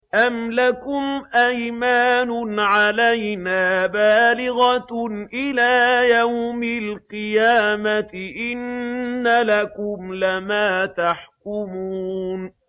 أَمْ لَكُمْ أَيْمَانٌ عَلَيْنَا بَالِغَةٌ إِلَىٰ يَوْمِ الْقِيَامَةِ ۙ إِنَّ لَكُمْ لَمَا تَحْكُمُونَ